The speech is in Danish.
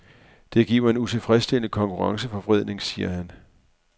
Det giver en utilfredsstillende konkurrenceforvridning, siger han.